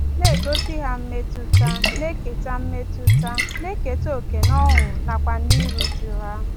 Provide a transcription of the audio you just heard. Na-egosi ha mmetụta, na-eketa mmetụta, na-eketa oke n’ọṅụ nakwa n’iru uju ha.